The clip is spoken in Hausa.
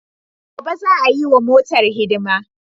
Gobe za'a yiwa motar hidima.